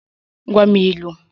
Gwa m ilu!